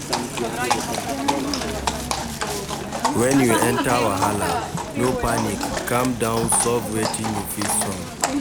When you enter wahala, no panic calm down solve wetin you fit solve